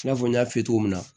I n'a fɔ n y'a f'i ye cogo min na